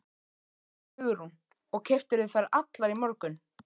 Hugrún: Og keyptirðu þær allar í morgun?